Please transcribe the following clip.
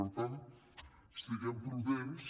per tant siguem prudents